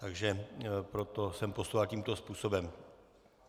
Takže proto jsem postupoval tímto způsobem.